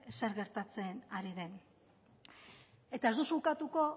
zer gertatzen ari den eta ez duzu ukatuko